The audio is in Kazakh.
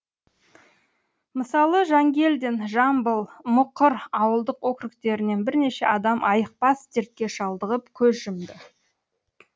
мысалы жангелдин жамбыл мұқыр ауылдық округтерінен бірнеше адам айықпас дертке шалдығып көз жұмды